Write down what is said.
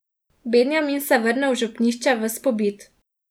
Benjamin se vrne v župnišče ves pobit.